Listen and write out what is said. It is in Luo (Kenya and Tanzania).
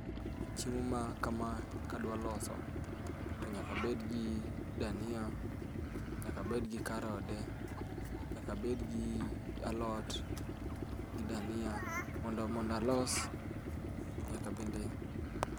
Chiemo ma kama kadwa loso, to nyaka abed gi dania, nyaka abed gi karode, nyaka abed gi alot, gi dania mondo mondo alos nyaka bende...